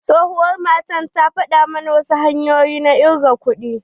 Tsohuwar matan ta faɗa mana wasu tsohon hanyoyi na ƙirga kuɗi.